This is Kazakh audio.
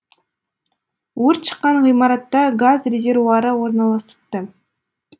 өрт шыққан ғимаратта газ резервуары орналасыпты